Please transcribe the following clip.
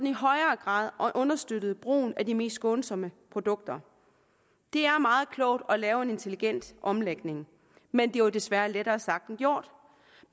i højere grad understøttede brugen af de mest skånsomme produkter det er meget klogt at lave en intelligent omlægning men det er jo desværre lettere sagt end gjort